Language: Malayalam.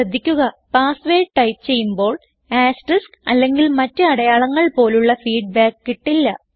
ശ്രദ്ധിക്കുക പാസ്വേർഡ് ടൈപ്പ് ചെയ്യുമ്പോൾ ആസ്റ്ററിസ്ക് അല്ലെങ്കിൽ മറ്റ് അടയാളങ്ങൾ പോലുള്ള ഫീഡ്ബാക്ക് കിട്ടില്ല